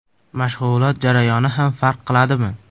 Mashg‘ulot jarayoni ham farq qiladimi?